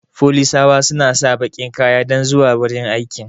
Folisawa suna sa bakin kaya dan zuwa wajan aiki